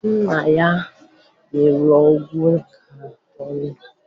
Nna ya nyere ọgwụ ka ọ ṅụọ